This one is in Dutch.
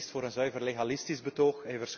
Hij kiest voor een zuiver legalistisch betoog.